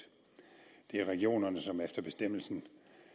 det er regionerne som efter bestemmelsen